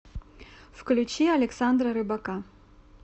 включи александра рыбака